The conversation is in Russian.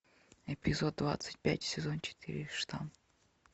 эпизод двадцать пять сезон четыре штамм